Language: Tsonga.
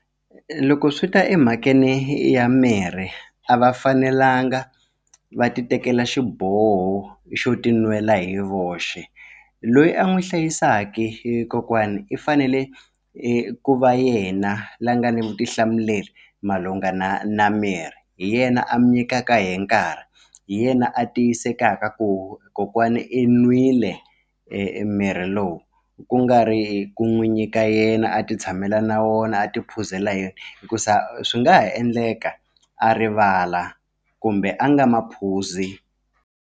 Loko swi ta emhakeni ya mirhi a va fanelanga va ti tekela xiboho xo ti nwela hi voxe loyi a n'wi hlayisaka e kokwana i fanele ku va yena la nga ni vutihlamuleri malungana na mirhi hi yena a mi nyikaka hi nkarhi hi yena a tiyisekaka ku kokwana i nwile e e mirhi lowu ku nga ri ku n'wi nyika yena a ti tshamela na wona a ti phuzela hi yena hikuza swi nga ha endleka a rivala kumbe a nga ma phuzi.